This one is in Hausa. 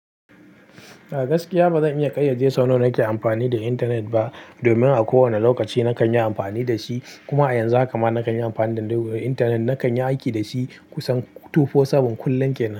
A gaskiya ba zan iya ƙayyade sau nawa nake amfani da intanet ba, domin a kowane lokaci nakan yi amfani da shi. Kuma a yanzu kam nakan yi amfani da intanet, nakan yi aiki da shi kusan 24/7, kullum kenan.